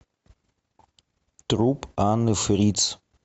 труп анны фриц